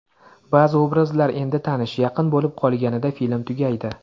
Ba’zi obrazlar endi tanish, yaqin bo‘lib qolganida film tugaydi.